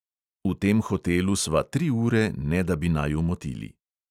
V tem hotelu sva tri ure, ne da bi naju motili.